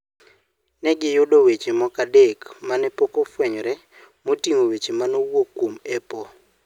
Ne giyudo weche moko adek ma ne pok ofwenyore moting'o weche ma nowuok kuom Apple.